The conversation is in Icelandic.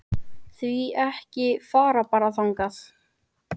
Því ekki að fara bara þangað?